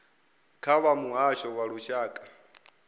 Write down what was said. nga vha muhasho wa lushaka